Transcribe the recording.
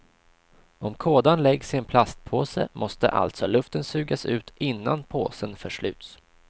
Om kådan läggs i en plastpåse måste alltså luften sugas ut innan påsen försluts.